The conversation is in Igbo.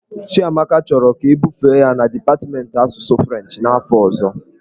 Chiamaka chọrọ ka ebufe ya na dipatmentị asụsụ Frenchị n'afọ ọzọ.